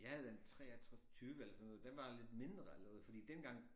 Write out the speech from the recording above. Ja den 63 20 eller sådan noget den var lidt mindre allerede fordi dengang